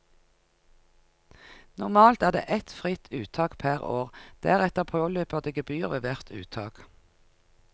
Normalt er det ett fritt uttak per år, deretter påløper det gebyr ved hvert uttak.